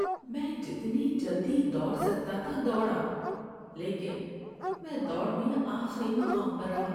میں جتنی جلدی دوڑ سکتا تھا دوڑا لیکن میں دوڑ میں آخری مقام پر رہا۔